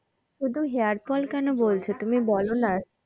শুধু hair fall কেন বলছো তুমি বলো না,